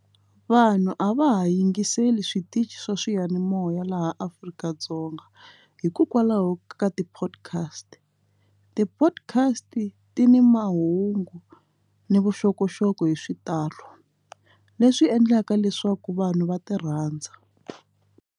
Vanhu a va ha yingiseli switichi swa swiyanimoya laha Afrika-Dzonga hikokwalaho ka ti-podcast, ti-podcast ti ni mahungu ni vuxokoxoko hi xitalo leswi endlaka leswaku vanhu va ti rhandza.